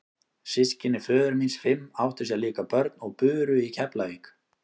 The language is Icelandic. Systkini föður míns fimm áttu sér líka börn og buru í Keflavík.